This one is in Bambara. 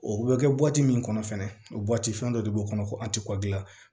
O bɛ kɛ min kɔnɔ fɛnɛ o fɛn dɔ de b'o kɔnɔ ko